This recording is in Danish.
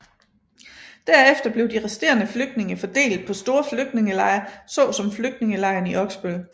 Derefter blev de resterende flygtninge fordelt på store flygtningelejre så som Flygtningelejren i Oksbøl